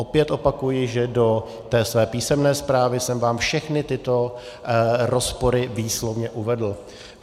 Opět opakuji, že do té své písemné zprávy jsem vám všechny tyto rozpory výslovně uvedl.